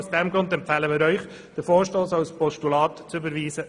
Aus diesem Grund empfehlen wir Ihnen, den Vorstoss als Postulat zu überweisen.